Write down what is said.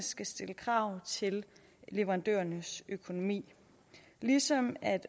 skal stille krav til leverandørernes økonomi ligesom